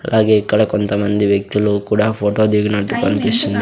అలాగే ఇక్కడ కొంతమంది వ్యక్తులు కూడా ఫోటో దిగినట్టు కన్పిస్తుంది.